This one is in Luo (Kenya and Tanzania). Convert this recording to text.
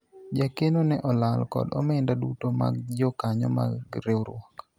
jakeno ne olal kod omenda duto mag jokanyo mar riwruok